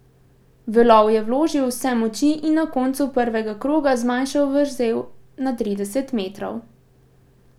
V lov je vložil vse moči in na koncu prvega kroga zmanjšal vrzel na trideset metrov.